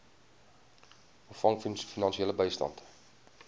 ontvang finansiële bystand